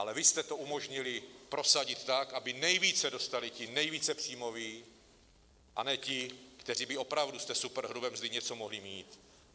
Ale vy jste to umožnili prosadit tak, aby nejvíce dostali ti nejvíce příjmoví, a ne ti, kteří by opravdu z té superhrubé mzdy něco mohli mít.